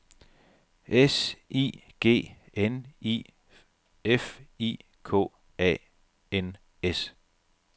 S I G N I F I K A N S